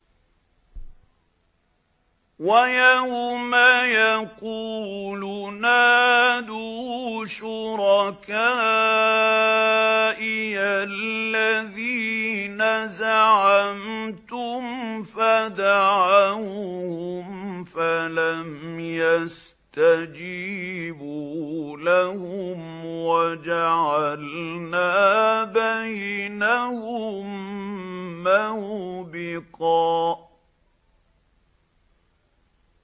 وَيَوْمَ يَقُولُ نَادُوا شُرَكَائِيَ الَّذِينَ زَعَمْتُمْ فَدَعَوْهُمْ فَلَمْ يَسْتَجِيبُوا لَهُمْ وَجَعَلْنَا بَيْنَهُم مَّوْبِقًا